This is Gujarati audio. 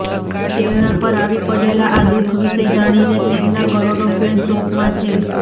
તેમના પર આવી પડેલા આ દુખ વિશે જાણીને તેમના કરોડો ફેન શોકમાં છે